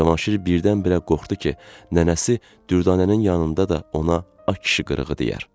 Cavanşir birdən-birə qorxdu ki, nənəsi dürdanənin yanında da ona a kişi qırığı deyər.